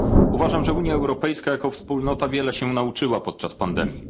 Uważam, że Unia Europejska, jako wspólnota, wiele się nauczyła podczas pandemii.